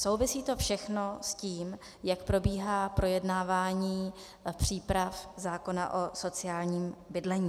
Souvisí to všechno s tím, jak probíhá projednávání příprav zákona o sociálním bydlení.